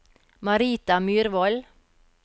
Marita Myrvold